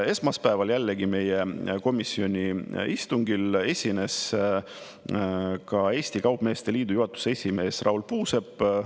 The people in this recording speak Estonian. Esmaspäeval jällegi meie komisjoni istungil esines ka Eesti Kaupmeeste Liidu juhatuse esimees Raul Puusepp.